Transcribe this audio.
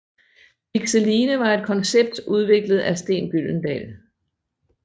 Pixeline var et koncept udviklet af Steen Gyldendal